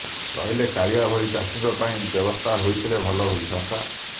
କହିଲେ କାଳିଆ ଭଳି ଚାଷୀଙ୍କ ପାଇଁ ବ୍ୟବସ୍ଥା ହୋଇଥିଲେ ଭଲ ହୋଇଥାନ୍ତା